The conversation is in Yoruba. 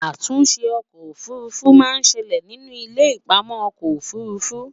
àtúnṣe ọkọ òfurufú má ṣẹlẹ nínú ilé ipamọ okò òfurufú